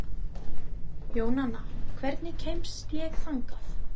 Jónanna, hvernig kemst ég þangað?